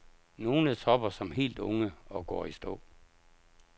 Nogle topper som helt unge og går i stå.